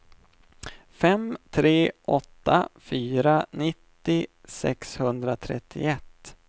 fem tre åtta fyra nittio sexhundratrettioett